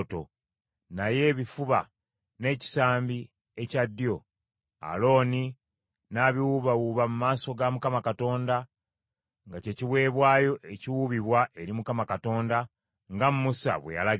naye ebifuba n’ekisambi ekya ddyo, Alooni n’abiwuubawuuba mu maaso ga Mukama Katonda nga kye kiweebwayo ekiwuubibwa, nga Musa bwe yalagira.